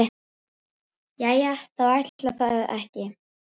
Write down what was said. Jæja þá, ætli það ekki.